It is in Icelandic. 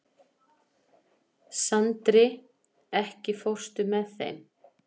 Sandri, ekki fórstu með þeim?